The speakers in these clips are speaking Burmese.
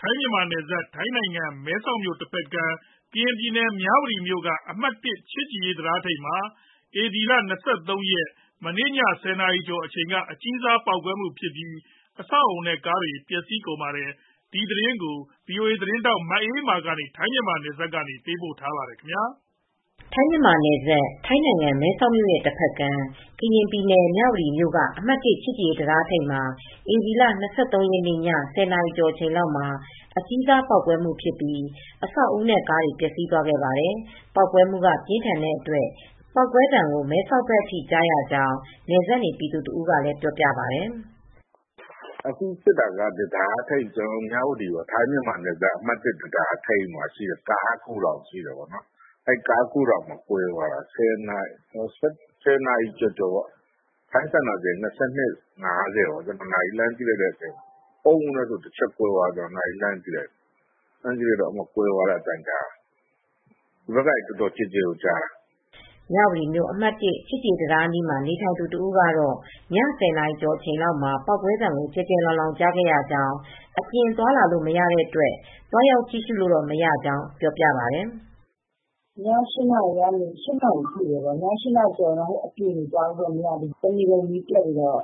ထိုင်း-မြန်မာနယ်စပ် ထိုင်းနိုင်ငံ မဲဆောက်မြို့တဖက်ကမ်း ကရင်ပြည်နယ် မြဝတီမြို့က အမှတ် ၁ ချစ်ကြည်ရေးတံတားထိပ်မှာ ဧပြီလ ၂၃ ရက် ည ၁၀ နာရီကျော်အချိန်က အကြီးစားပေါက်ကွဲမှုဖြစ်ပြီး အဆောက်အဦနဲ့ ကားတွေ ပျက်စီးသွားပါတယ်။ အပြည့်အစုံကို ဗွီအိုအေသတင်းထောက် မအေးအေးမာ သတင်းပေးပို့ထားပါတယ်။ ထိုင်း-မြန်မာနယ်စပ် ထိုင်းနိုင်ငံ မဲဆောက်မြို့တဖက်ကမ်း ကရင်ပြည်နယ် မြဝတီမြို့က အမှတ် ၁ ချစ်ကြည်ရေးတံတားထိပ်မှာ ဧပြီလ ၂၃ ရက် ည ၁၀ နာရီကျော်အချိန်က အကြီးစားပေါက်ကွဲမှုဖြစ်ပြီး အဆောက်အဦနဲ့ ကားတွေ ပျက်စီးသွားပါတယ်။ ပေါက်ကွဲမှုက ပြင်းထန်တဲ့အတွက် ပေါက်ကွဲသံကို မဲဆောက်ဘက်အထိ ကြားရကြောင်း နယ်စပ်နေ ပြည်သူတဦးက ပြောပြပါတယ်။ “အခုဖြစ်တာက တံတားထိပ် ကျနော်တို့ အမှတ် ၁ တံတားထိပ် ကားဂိုထောင်မှာ ကွဲသွားတာ။ ၁၀ နာရီကျော်ကျော် ထိုင်းစံတော်ချိန် ၂၂ နာရီ ၅၀ ပေါ့။ ကျနော် နာရီလှမ်းကြည့်လိုက်တော့ အုန်းကနဲဆိုပြီး ကွဲသွားတာကို အသံကြားတာ၊ ဒီဘက်ကနေ အသံကျယ်ကျယ်ကို ကြားရတယ်။” မြဝတီမြို့ အမှတ် ၁ ချစ်ကြည်ရေးတံတား အနီးမှာ နေထိုင်သူတဦးကတော့ ည ၁၀ နာရီကျော်လောက်မှာ ပေါက်ကွဲသံကို ကျယ်ကျယ်လောင်လောင် ကြားခဲ့ရကြောင်း၊ အပြင်သွားလာလို့ မရတဲ့အတွက် သွားရောက်ကြည့်ရှုလို့တော့ မရကြောင်း ပြောပြပါတယ်။ “ည ၈ နာရီကျော်ရင် အပြင်တွေကလည်း သွားခွင့်မရဘူး။ တနေကုန် မီးပျက်နေတော့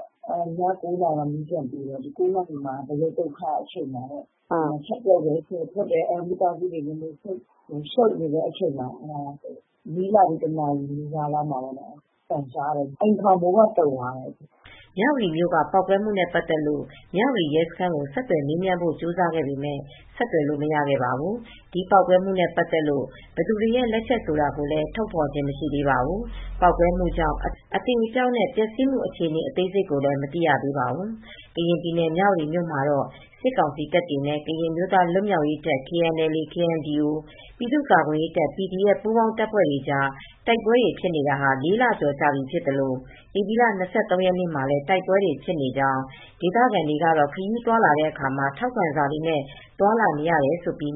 ည ၉ နာရီမှာ မီးကပြန်ပေးတယ်။ ၉ နာရီမှာတေ့ာ ဗရုတ်သုတ်ခ ဖြစ်နေတာပေါ့။ မိသားစုတွေ ချက်ရယ်ပြုတ်ရယ်နဲ့ အလုပ်တွေရှုတ်နေချိန်မှာပေါ့။ မီးလာပြီး တနာရီလောက်မှာပဲ အသံကြားတယ်၊ အိမ်ခေါင်မိုးပါ တုန်သွားတယ်။” မြဝတီမြို့က ပေါက်ကွဲမှုနဲ့ ပတ်သက်လို့ မြဝတီရဲစခန်းကို ဆက်သွယ်မေးမြန်းဖို့ ကြိုးစားခဲ့ပေမဲ့ ဆက်သွယ်လို့ မရခဲ့ပါဘူး။ ဒီပေါက်ကွဲမှုနဲ့ပတ်သက်လို့ ဘယ်သူတွေရဲ့လက်ချက် ဆိုတာလည်း ထုတ်ဖော်ခြင်း မရှိသေးပါဘူး။ ပေါက်ကွဲမှုကြောင့် အသေအပျောက်နဲ့ ပျက်စီးမှု အခြေအနေ အသေးစိတ်ကိုလည်း မသိရသေးပါဘူး။ ကရင်ပြည်နယ် မြဝတီမြို့မှာတော့ စစ်ကောင်စီတပ်တွေနဲ့ ကရင်အမျိုးသားလွတ်မြောက်ရေးတပ် ၊ KNDO၊ ပြည်သူ့ကာကွယ်ရေးတပ် ပူးပေါင်းတပ်ဖွဲ့တွေကြား တိုက်ပွဲတွေဖြစ်တာ ၄ လကျော်ပြီဖြစ်သလို ဧပြီလ ၂၃ ရက်နေ့မှာလည်း တိုက်ပွဲတွေဖြစ်နေကြောင်း၊ ဒေသခံတွေကတော့ ခရီးသွားလာတဲ့အခါ ထောက်ခံစာတွေနဲ့ သွားလာနေရကြောင်း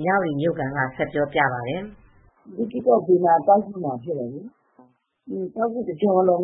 မြဝတီမြို့ခံက ဆက်ပြောပြပါတယ်။ “လေးကေ့ကော်တဝိုက် ကျောက်ဂူမှာတော့ ဖြစ်နေတယ်။ ကျောက်ဂူတကြောလုံး